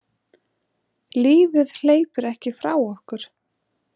Lífið hleypur ekki frá okkur.